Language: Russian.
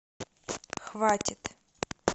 хватит